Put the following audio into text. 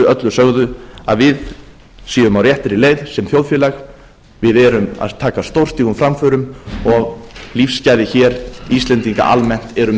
öllu sögðu að við séum á réttri leið sem þjóðfélag við erum að taka stórstígum framförum og lífsgæði hér íslendinga almennt eru